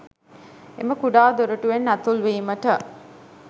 එම කුඩා දොරටුවෙන් ඇතුල්වීමට